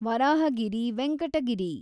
Varahagiri Venkata Giri